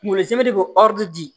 Kunkolo zɛmɛ de be bɔ di